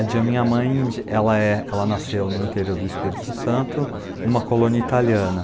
De a minha mãe de ela é, ela nasceu no interior do Espírito Santo, numa colônia italiana.